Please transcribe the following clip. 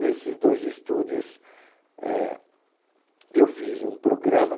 Nesses dois estúdios, eh, eu fiz um programa.